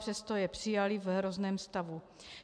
Přesto je přijali v hrozném stavu.